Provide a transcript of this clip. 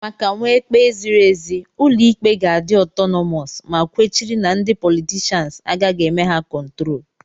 Maka nwee ikpe ziri ezi, ụlọ ikpe ga-adi otonomos, ma kwechiri na ndị politishans agaghị eme ha kontrol.